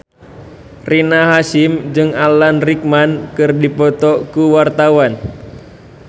Rina Hasyim jeung Alan Rickman keur dipoto ku wartawan